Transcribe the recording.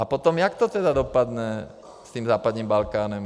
A potom jak to tedy dopadne s tím západním Balkánem?